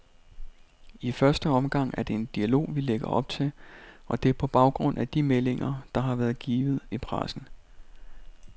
I første omgang er det en dialog, vi lægger op til, og det er på baggrund af de meldinger, der har været givet til pressen.